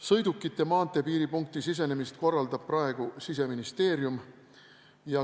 Sõidukite maanteepiiripunkti sisenemist korraldab praegu Siseministeerium.